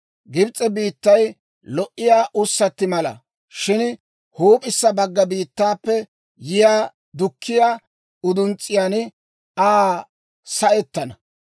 «Gibs'e biittay lo"iyaa ussatti mala; shin huup'issa bagga biittaappe yiyaa dukkiyaa uduns's'iyaan Aa sa"ettana.